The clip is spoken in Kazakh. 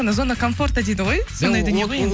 зона комфорта дейді ғой сондай дүние ғой енді